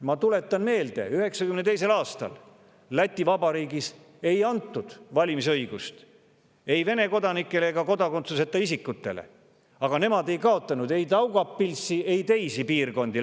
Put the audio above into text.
Ma tuletan meelde, et 1992. aastal Läti Vabariigis ei antud valimisõigust ei Vene kodanikele ega kodakondsuseta isikutele ja Läti ei kaotanud ei Daugavpilsi ega teisi piirkondi.